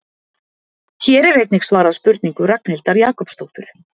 Hér er einnig svarað spurningu Ragnhildar Jakobsdóttur: